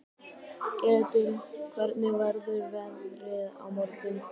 Edil, hvernig verður veðrið á morgun?